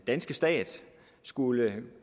danske stat skulle